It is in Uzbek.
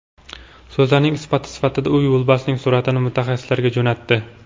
So‘zlarining isboti sifatida u yo‘lbarsning suratini mutaxassislarga jo‘natdi.